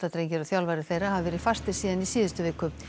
drengir og þjálfari þeirra hafa verið fastir síðan í síðustu viku